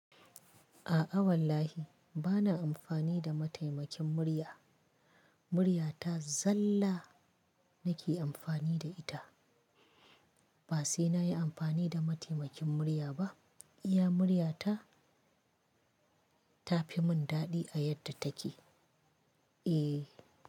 A'a wallahi bana amfani da mataimakin murya, murya ta zalla nake amfani da ita. Ba sai na yi amfani da mataimakin murya ba, iya murya ta, ta fi mun daɗi a yadda take. Eh.